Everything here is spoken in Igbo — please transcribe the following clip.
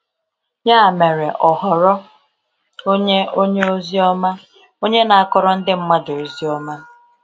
Ya mere, ọ ghọrọ onye onye ozi ọma, onye na-akọrọ ndị mmadụ ozi ọma.